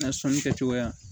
N ka sɔnni kɛcogoya